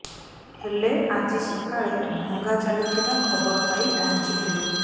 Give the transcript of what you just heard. ହେଲେ ଆଜି ସକାଳେ ଭଙ୍ଗା ଚାଲିଥିବା ଖବର ପାଇ ପହଞ୍ଚିଥିଲୁ